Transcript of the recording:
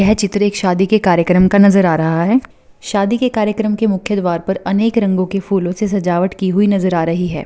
यह चित्र एक शादी के कार्यक्रम का नज़र आ रहा है शादी के कार्यक्रम के मुख्य द्वार पर अनेक रंगों के फूलो से सजावट की हुई नज़र आ रही है।